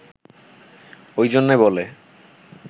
ওই জন্যে বলে